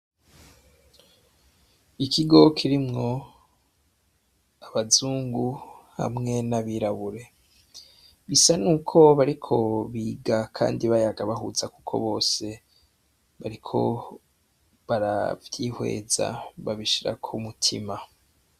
Ikigo kirimwo abazungu, hamwe n'abirabure. Bisa n'uko bariko biga kandi bayaga bahuza, kuko bose bariko baravyihweza babishira ku mutima .